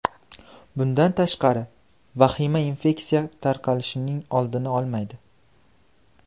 Bundan tashqari, vahima infeksiya tarqalishining oldini olmaydi.